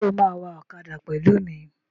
Ṣé o máa wa ọ̀kadà pẹ̀lú mi?